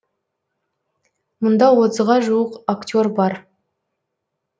мұнда отызға жуық актер бар